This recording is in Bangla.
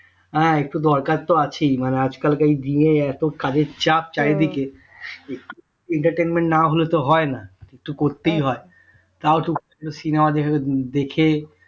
হ্যাঁ একটু দরকার তো আছেই আজকালকার দিনে এত কাজের চাপ চারিদিকে entertainment না হলে তো হয়না একটু করতেই হয় তাও তো cinema দেখে